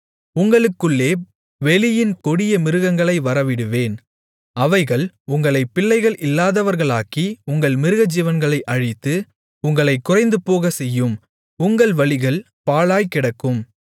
உங்களுக்குள்ளே வெளியின் கொடிய மிருகங்களை வரவிடுவேன் அவைகள் உங்களைப் பிள்ளைகள் இல்லாதவர்களாக்கி உங்கள் மிருகஜீவன்களை அழித்து உங்களைக் குறைந்துபோகச்செய்யும் உங்கள் வழிகள் பாழாய்க் கிடக்கும்